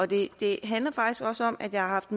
det det handler faktisk også om at jeg har haft